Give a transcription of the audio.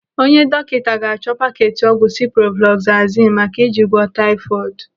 Onye dọkịta ga-achọ paketi ọgwụ siproflazasinu maka iji gwọọ taifọdu.